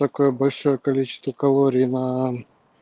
такое большое количество калорий на